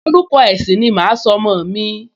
Orúkọ ẹ̀sìn ni màá sọ ọmọ mi